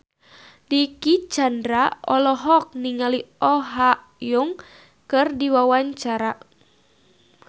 Dicky Chandra olohok ningali Oh Ha Young keur diwawancara